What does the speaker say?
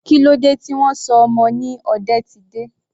Kílódé tí wọn sọ ọmọ ni Odetide?